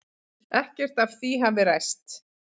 Ekkert af því hafi ræst.